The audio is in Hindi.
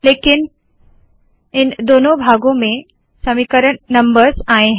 लेकिन इन दोनों भागो में समीकरण नम्बर्स आए है